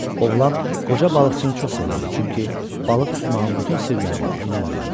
Oğlan qoca balıqçını çox sevirdi, çünki balıq tutmağın bütün sirlərini ondan öyrənmişdi.